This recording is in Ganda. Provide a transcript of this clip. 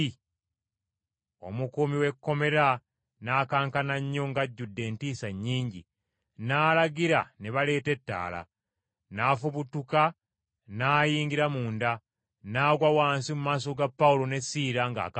Omukuumi w’ekkomera n’akankana nnyo ng’ajjudde entiisa nnyingi, n’alagira ne baleeta ettaala, n’afubutuka n’ayingira munda, n’agwa wansi mu maaso ga Pawulo ne Siira ng’akankana.